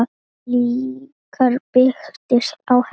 Líf okkar byggist á henni.